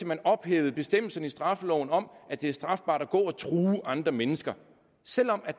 man ophæver bestemmelsen i straffeloven om at det er strafbart at gå og true andre mennesker selv om